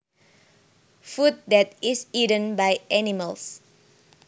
Food that is eaten by animals